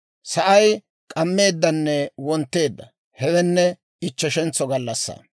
Sa'ay k'ammeeddanne wontteedda; hewenne ichcheshentso gallassaa.